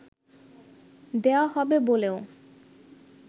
দেয়া হবে বলেও